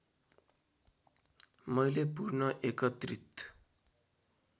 मैले पूर्ण एकत्रित